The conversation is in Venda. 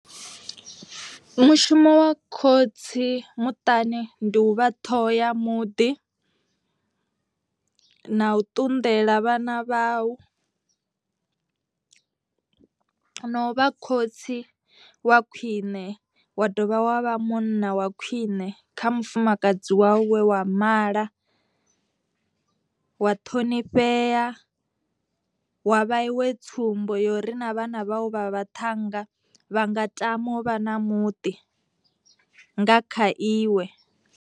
Mushumo wa khotsi muṱani ndi u vha ṱhoho ya muḓi, na u ṱunḓela vhana vhau , no vha khotsi wa khwine wa dovha wa vha munna wa khwine kha mufumakadzi wawu we wa mala, wa ṱhonifhea wa vhasiwe tsumbo uri na vhana vhavho vha vhaṱhannga vha nga tama u vha na muḓi nga kha iwe.